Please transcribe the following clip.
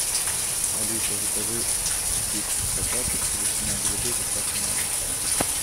алиса закажи пиццу в потапыче ветчина грибы с доставкой на дом